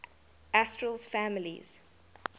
asterales families